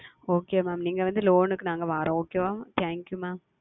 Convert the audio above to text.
Okay Mam நீங்கள் வந்து Loan க்கு நாங்கள் வருகிறோம் Okay ஆ Thank YouMam